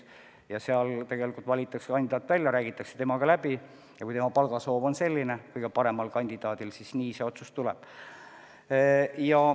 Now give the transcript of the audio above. Seal valitakse kandidaat välja, räägitakse temaga läbi ja kui kõige parema kandidaadi palgasoov on selline, siis nii see otsus tuleb.